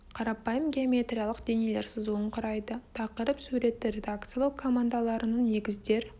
қарапайым геометриялық денелер сызуын құрайды тақырып суретті редакциялау командаларының негіздер